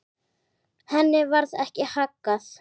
Henni varð ekki haggað.